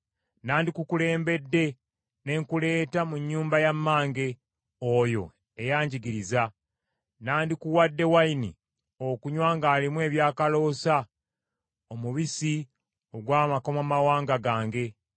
Nandikukulembedde ne nkuleeta mu nnyumba ya mmange, oyo eyangigiriza. Nandikuwadde wayini okunywa ng’alimu ebyakaloosa, omubisi ogw’amakomamawanga gange.